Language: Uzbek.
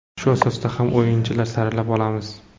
Shu asosda ham o‘yinchilarni saralab olamiz.